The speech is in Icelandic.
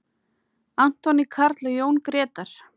Anthony Karl og Jón Gretar.